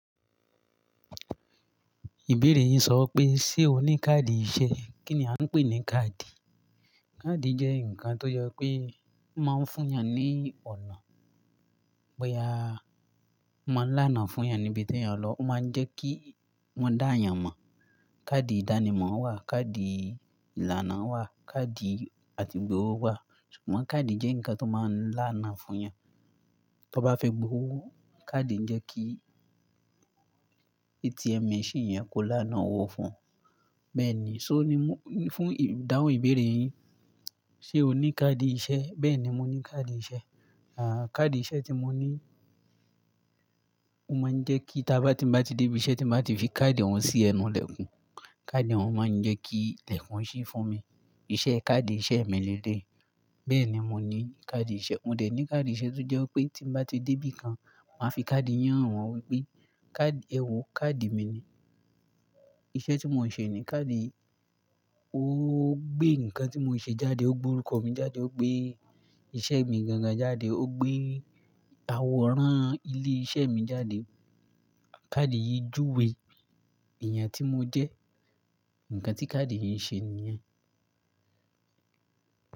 Ìbéèrè yin sọ pé, ṣe o ní káàdì ìṣe? Kí ni a ń pè ní káàdì? Káàdì jẹ́ ǹkan tó yẹ pé máa ń fún yàn ní ọ̀nà, bóyá máa ń lánàá fún yàn níbi tí yàn lọ, ó máa ń jẹ́ kí wọ́n dá yàn mọ̀. Káàdì ìdánimọ̀ wà, káàdì ìlànà wà, káàdì àti gbowó wà, ṣùgbọ́n káàdì jẹ́ ǹkan tó máa ń lánàá fún yàn. Tọ bá fẹ́ gbowó, káàdì ń jẹ́ kí ATM machine yẹn kó lánàá owó fún ọ. Bẹ́ẹ̀ ni, ṣó ni fún ìdáhùn ìbéèrè yín, ṣe o ní káàdì iṣẹ́? Bẹ́ẹ̀ni, mo ní káàdì iṣẹ́. À káàdì iṣẹ́ tí mo ní ó máa ń jẹ́ kí tí bá ti bá ti dé ibi iṣẹ́ tí bá ti fi káàdì wọn sí ẹnu ilẹ̀kùn, káàdì wọn máa ń jẹ́ kí ilẹ̀kùn ṣí fún mi. Iṣẹ́ káàdì iṣẹ́ mi lé lé yii Bẹ́ẹ̀ ni mo ní káàdì iṣẹ́. Mo dẹ̀ ní káàdì iṣẹ́ tó jẹ́ pé tí mo bá ti dé ibikan, máa fi káàdì yàn wọ́n wípé, "káàdì, ẹ wo káàdì mi ni." Iṣẹ́ tí mo ń ṣe ní káàdì ó gbé ǹkan tí mo ń ṣe jáde, ó gbe orúkọ mi jáde, ó gbé iṣẹ́ mi gangan jáde, ó gbé àwòrán ilé iṣẹ́ mi jáde. Káàdì yìí júwe èèyàn tí mo jẹ́. Ǹkan tí káàdì yìí ń ṣe nìyẹn.